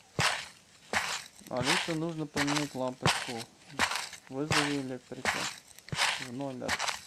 алиса нужно поменять лампочку вызови электрика в номер